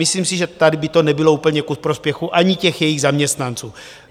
Myslím si, že tady by to nebylo úplně ku prospěchu ani těch jejich zaměstnanců.